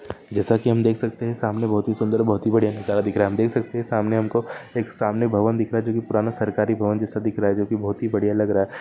जैसा कि हम देख सकते है सामने बहुत ही सुंदर बहुत हि बड़िया नजारा दिख रहा हम देख सकते है हमको एक सामने भवन दिख रहा जो की पुराना सरकारी भवन जैसा दिख रहा जो की बहुत ही बड़िया लग रहा है।